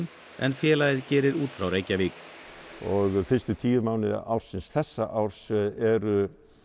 en félagið gerir út frá Reykjavík fyrstu tíu mánuði ársins þessa árs eru